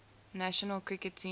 national cricket team